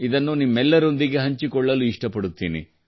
ಇದನ್ನು ನಿಮ್ಮೆಲ್ಲರೊಂದಿಗೆ ಹಂಚಿಕೊಳ್ಳಲು ಇಷ್ಟಪಡುತ್ತೇನೆ